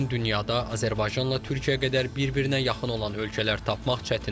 Bu gün dünyada Azərbaycanla Türkiyə qədər bir-birinə yaxın olan ölkələr tapmaq çətindir.